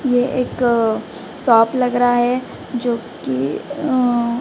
यह एक साफ लग रहा है जो की--